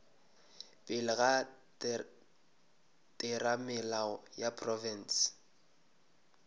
pele ga theramelao ya profense